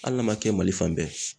Hali n'a ma kɛ Mali fan bɛɛ ye.